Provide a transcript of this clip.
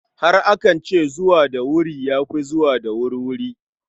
Har akan ce, zuwa da wuri ya fi zuwa da wurwuri.